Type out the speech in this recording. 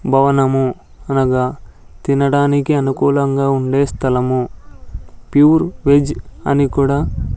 భవనము అనగా తినడానికి అనుకూలంగా ఉండే స్థలము ప్యూర్ వెజ్ అని కూడా --